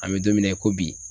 An mɛ don min na i ko bi